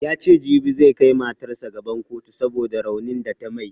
Yace jibi zai kai matarsa gaban kotu saboda raunin da ta mai